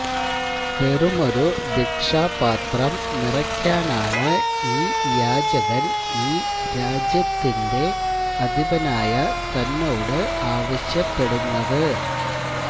വെറുമൊരു ഭിക്ഷാപാത്രം നിറയ്ക്കാനാണ് ഈ യാചകൻ ഈ രാജ്യത്തിന്റെ അധിപനായ തന്നോട് ആവശ്യപ്പെടുന്നത്